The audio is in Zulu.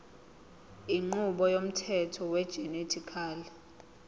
inqubo yomthetho wegenetically